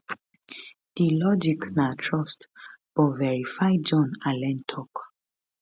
di logic na trust but verify john allen tok